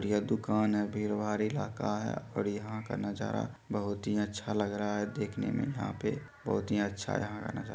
यह दुकान है भीड़ भाड़ इलाका है और यहाँ का नजारा बहुत ही अच्छा लग रहा है देखने में यहाँ पे बहुत ही अच्छा यहाँ का नजारा।